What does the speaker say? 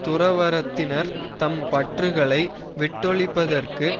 துறவறத்தினர் தம் பற்றுகளை விட்டொழிப்பதற்கு